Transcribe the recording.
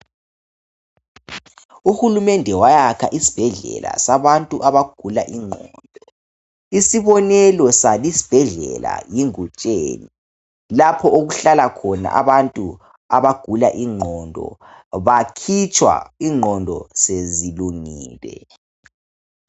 UHulumende wayakha isibhedlela sabantu abagula ingqondo. Isibonelo sabo isibhedlela yi Ngutsheni. Lapho okuhlala khona abantu abagula ingqondo. Bakhitshwa ingqondo sezilungile